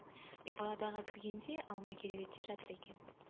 мен палатаға кіргенде алма кереуетте жатыр екен